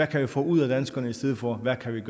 kan få ud af danskerne i stedet for hvad vi